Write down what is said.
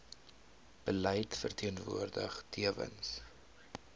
beleid verteenwoordig tewens